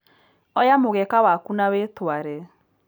Oya mũgeka waku na wĩtware.